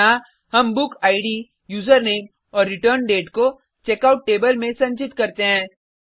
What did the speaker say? यहाँ हम book id username और रिटर्नडेट को चेकआउट टेबल में संचित करते हैं